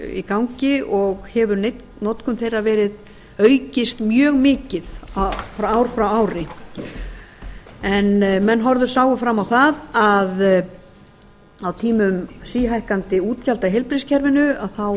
í gangi og hefur notkun þeirra aukist mjög mikið ár frá ári menn sáu fram á að á tímum síhækkandi útgjalda í heilbrigðiskerfinu